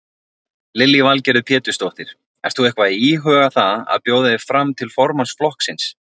Lillý Valgerður Pétursdóttir: Ert þú eitthvað íhuga það að bjóða þig fram til formanns flokksins?